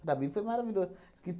Para mim foi maravilhoso. Porque